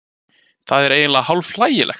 Það er eiginlega hálf hlægilegt